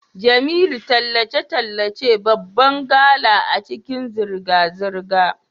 Jemilu tallace-tallace babban gala a cikin zirga-zirga.